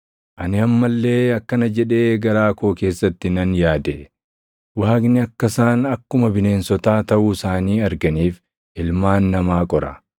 Ani amma illee akkana jedhee garaa koo keessatti nan yaade; “Waaqni akka isaan akkuma bineensotaa taʼuu isaanii arganiif ilmaan namaa qora.